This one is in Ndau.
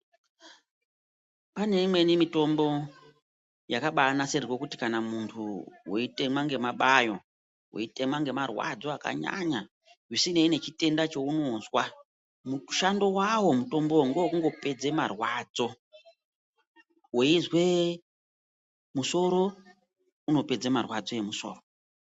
Pane imweni mitombo yakabaanasirirwe kuti Kana muntu weitema ngemabayo weitema ngemarwadzo akanyanya zvisinei nechitenda cheunozwa mushando wawo mutombowo ngewe kungopedze marwadzo weizwee musoro unopedze marwadzo emusoro.